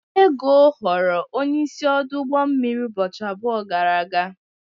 Ego ghọrọ onye isi ọdụ ụgbọ mmiri ụbọchị abụọ gara aga.